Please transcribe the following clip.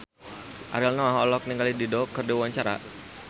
Ariel Noah olohok ningali Dido keur diwawancara